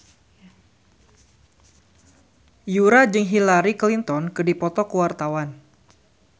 Yura jeung Hillary Clinton keur dipoto ku wartawan